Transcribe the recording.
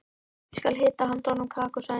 Ég skal hita handa honum kakó sagði Nína.